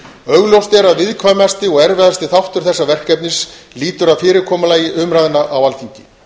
augljóst er að viðkvæmasti og erfiðasti þáttur þessa verkefnis lýtur að fyrirkomulagi umræðna á alþingi